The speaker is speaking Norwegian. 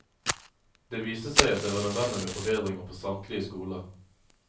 Det viste seg at det var nødvendig med forbedringer på samtlige skoler.